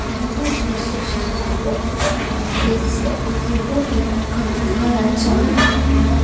यह दृश्य शायद हमें किसी ऑफिस या कंप्यूटर लैब का दिखाया जा रहा है।